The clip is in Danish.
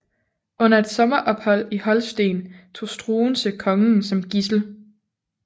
Under et sommerophold i Holsten tog Struensee kongen som gidsel